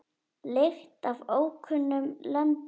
Lykt frá ókunnum löndum.